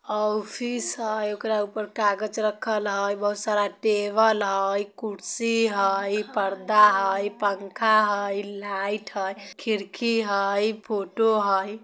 ऑफिस हय ओकरा ऊपर कागज रखल हय बोहत सारा टेबल हय कुर्सी हय पर्दा हय पंखा हय लाईट हय खिड़की हय फोटो हय।